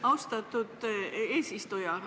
Austatud eesistuja!